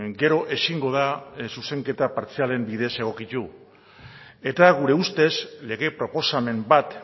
gero ezingo da zuzenketa partzialen bide egokitu eta gure ustez lege proposamen bat